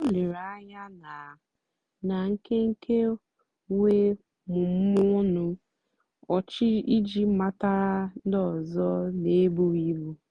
o lèrè ànyá na na nkénkè wéé mụ́mụ́ọ́ ọnụ́ ọ́chị́ ijì matàra ndí ọ́zọ́ n'èbùghị́ ìbù.